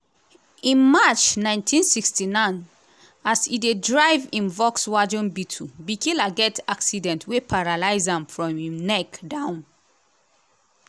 in march 1969 as e dey drive im volkswagen beetle bikila get accident wey paralyse am from im neck down.